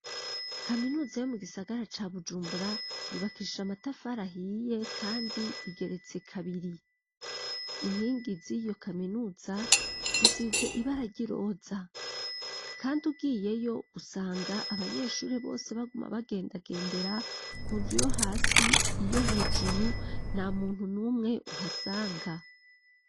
Kaminuza yo mu gisagara ca bujumbura yubakisha amatafarahiye, kandi igeretse kabiri inkingi ziyo kaminuza zisize ibarary'iroza, kandi ugiyeyo usanga abanyeshuri bose baguma bagendagendera kunzu uyo hasi iyo hejuru na muntu n'umwe uhasanga.